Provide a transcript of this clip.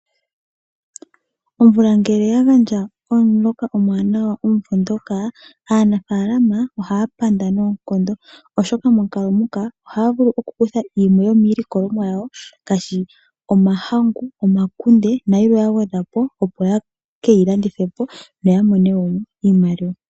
Omvula ngele yagandja omuloka omwaanawa unene movenduka, aanafaalama ohaa panda noonkondo, oshoka momukalo muka ohaa vulu kukutha yimwe yomiilikolomwa yawo ngaashi omahangu, omakunde nayilwe yagwedha po opo ye keyi landithe po noya mone mo iimaliwa.